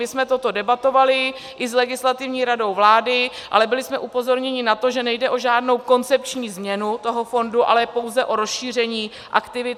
My jsme toto debatovali i s Legislativní radou vlády, ale byli jsme upozorněni na to, že nejde o žádnou koncepční změnu toho fondu, ale pouze o rozšíření aktivit.